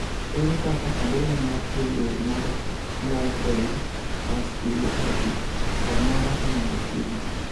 ere kaka adhola mar pien del mar livedoid vasculopathy samoro inyalo thiedhi